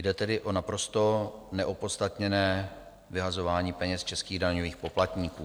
Jde tedy o naprosto neopodstatněné vyhazování peněz českých daňových poplatníků.